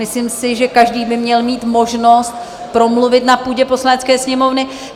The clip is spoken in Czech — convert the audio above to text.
Myslím si, že každý by měl mít možnost promluvit na půdě Poslanecké sněmovny.